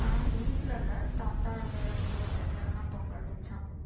ஆஹ் வீட்டுல இல்ல தாத்தாவோட தோட்டத்துலதான் பொங்கல் வச்சோம்